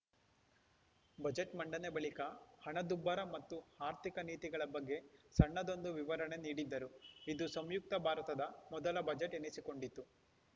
budget ಮಂಡನೆ ಬಳಿಕ ಹಣದುಬ್ಬರ ಮತ್ತು ಆರ್ಥಿಕ ನೀತಿಗಳ ಬಗ್ಗೆ ಸಣ್ಣದೊಂದು ವಿವರಣೆ ನೀಡಿದ್ದರು ಇದು ಸಂಯುಕ್ತ ಭಾರತದ ಮೊದಲ ಬಜೆಟ್‌ ಎನಿಸಿಕೊಂಡಿತ್ತು